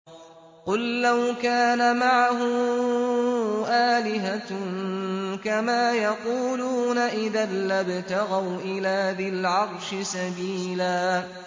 قُل لَّوْ كَانَ مَعَهُ آلِهَةٌ كَمَا يَقُولُونَ إِذًا لَّابْتَغَوْا إِلَىٰ ذِي الْعَرْشِ سَبِيلًا